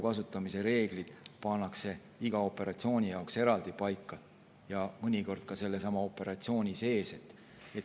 Need reeglid pannakse paika iga operatsiooni jaoks eraldi ja mõnikord ka sellesama operatsiooni sees.